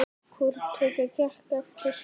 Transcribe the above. Hvoru tveggja gekk eftir.